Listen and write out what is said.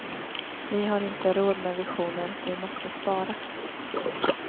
Vi har inte råd med visioner, vi måste spara.